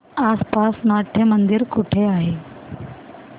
आसपास नाट्यमंदिर कुठे आहे